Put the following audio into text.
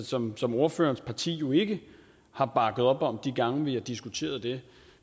som som ordførerens parti jo ikke har bakket op om de gange vi har diskuteret det